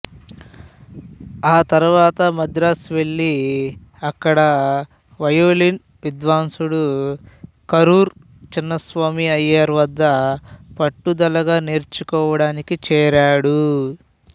తరువాత మద్రాసు వెళ్ళి అక్కడ వయొలిన్ విద్వాంసుడు కరూరు చిన్నస్వామి అయ్యర్ వద్ద పట్టుదలగా నేర్చుకోవడానికి చేరాడు